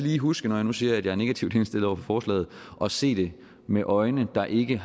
lige huske når jeg nu siger at jeg er negativt indstillet over for forslaget at se det med øjne der ikke